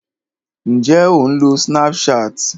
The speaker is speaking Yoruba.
Ǹjé o ń lo Snapchat?